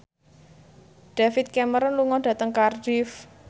David Cameron lunga dhateng Cardiff